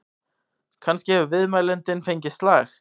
Kannski hefur viðmælandinn fengið slag?